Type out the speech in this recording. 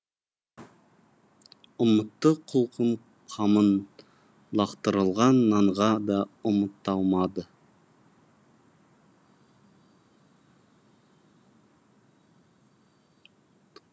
ұмытты құлқын қамын лақтырылған нанға да ұмыта алмады